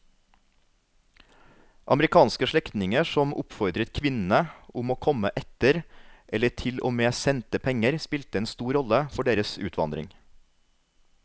Amerikanske slektninger som oppfordret kvinnene om å komme etter eller til og med sendte penger spilte en stor rolle for deres utvandring.